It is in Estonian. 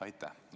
Aitäh!